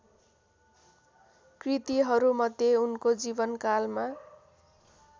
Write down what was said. कृतिहरूमध्ये उनको जीवनकालमा